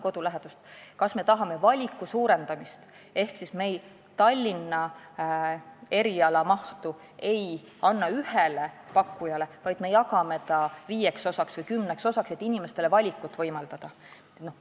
Kas me tahame valiku suurendamist ehk me ei anna Tallinna erialade mahtu ühele pakkujale, vaid jagame selle viieks või kümneks osaks, et inimestele valikut võimaldada?